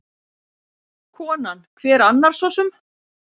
Konan: Hver annar sosum?